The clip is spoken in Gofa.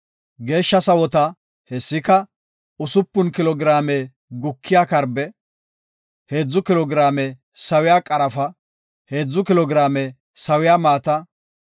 “Geeshsha sawota, hessatika; usupun kilo giraame gukiya karbe, heedzu kilo giraame sawiya qarafa, heedzu kilo giraame sawiya maata,